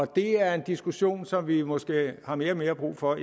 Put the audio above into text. det er en diskussion som vi måske har mere og mere brug for